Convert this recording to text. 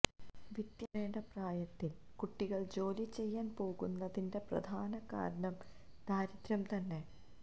വിദ്യ നുകരേണ്ട പ്രായത്തില് കുട്ടികള് ജോലി ചെയ്യാന് പോകുന്നതിന്െറ പ്രധാന കാരണം ദാരിദ്ര്യം തന്നെ